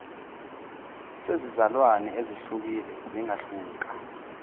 sezilwane ezehlukile zingahluka